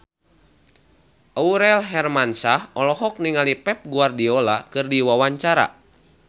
Aurel Hermansyah olohok ningali Pep Guardiola keur diwawancara